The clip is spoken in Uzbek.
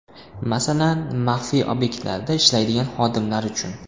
Masalan, maxfiy obyektlarda ishlaydigan xodimlar uchun.